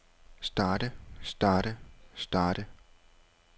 starte starte starte